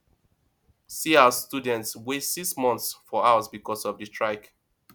see as students waste six months for house because of di strike